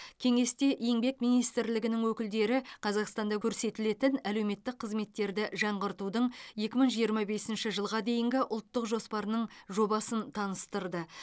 кеңесте еңбек министрлігінің өкілдері қазақстанда көрсетілетін әлеуметтік қызметтерді жаңғыртудың екі мың жиырма бесінші жылға дейінгі ұлттық жоспарының жобасын таныстырды